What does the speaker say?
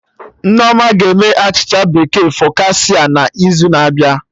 Nnenna ga-eme achịcha bekee focaccia n'izu na-abịa